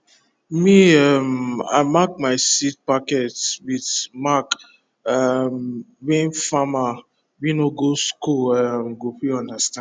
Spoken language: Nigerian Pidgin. me um i mark my seed packet with mark um wey farmer wey no go school um go fit understand